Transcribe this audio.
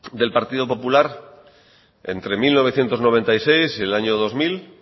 del partido popular entre mil novecientos noventa y seis y el año dos mil